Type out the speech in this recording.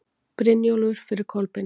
Brynjólfur fyrir Kolbeini.